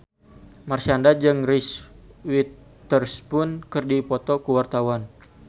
Marshanda jeung Reese Witherspoon keur dipoto ku wartawan